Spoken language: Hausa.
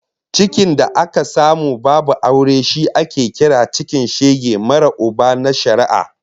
Cikin da aka samu babu aure shi ake kira cikin shege marar Uba na shari'a